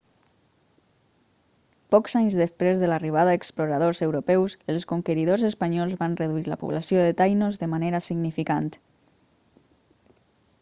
pocs anys després de l'arribada d'exploradors europeus els conqueridors espanyols van reduir la població de taïnos de manera significant